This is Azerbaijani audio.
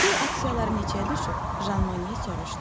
Stil aksiyaları neçəyə düşüb?